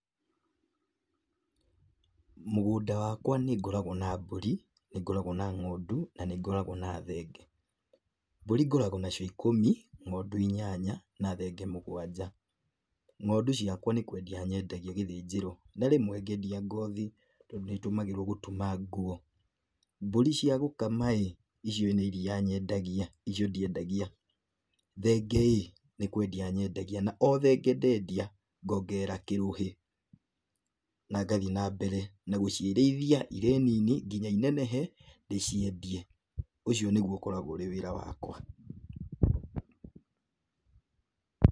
Mũgũnda wakwa nĩ ngoragwo na mbũri, nĩ ngoragwo na ng'ondu na nĩ ngoragwo na thenge. Mburĩ ngoragwo nacio ikũmi, ngondu inyanya na thenge mũgwanja. Ng'ondu ciakwa nĩ kwendia nyendagia gĩthĩnjĩro na rĩmwe ngendia ngothi tondũ nĩ ĩtũmagĩrwo gũtuma nguo. Mbũri cia gũkama ĩ, icio nĩ iria nyendagia, icio ndiendagia. Thenge ĩ, nĩ kwendia nyendagia, na o thenge ndendia, ngongerera kĩrũhĩ, na ngathiĩ na mbere na gũciĩrĩithia irĩ nini nginya inenehe, ndĩciendie, ũcio nĩguo ũkoragwo ũrĩ wĩra wakwa,